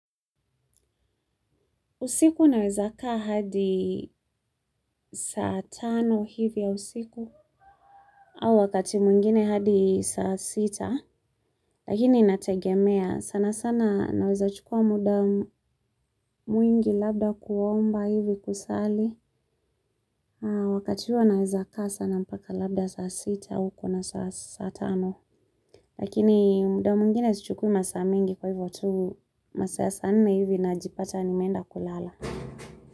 Usiku naweza kaa hadi saa tano hivi ya usiku. Au wakati mwingine hadi saa sita. Lakini inategemea sana sana naweza chukua muda mwingi labda kuomba hivi kusali. Wakati huo naweza kaa sana mpaka labda saa sita au kuna saa tano. Lakini muda mwingine sichukui masaa mengi kwa hivyo tu masaa ya saa nne hivi najipata nimeenda kulala.